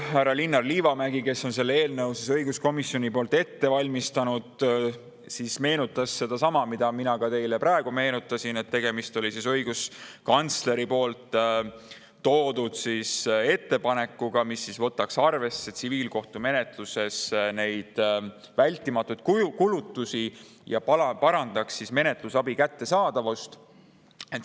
Härra Linnar Liivamägi, kes selle eelnõu õiguskomisjoni poolt ette valmistas, meenutas sedasama, mida mina teile praegu, et tegemist oli õiguskantsleri ettepanekuga, et võetaks tsiviilkohtumenetluses arvesse vältimatuid kulutusi ja parandataks menetlusabi kättesaadavust.